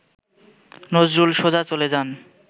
নজরুল সোজা চলে যান